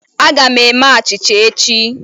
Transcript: Aga m eme achịcha echi.